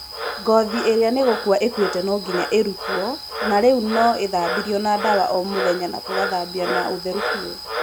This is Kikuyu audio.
ngothi ĩria nĩ gũkũa ĩkuĩte no nginya ĩrũtwo na rĩu no ithambirio na ndawa o mũthenya na tũgathambia na ũtherũ biũ